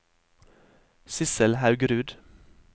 Sissel Haugerud